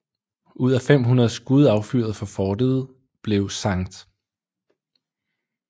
Ud af 500 skud affyret fra fortet blev St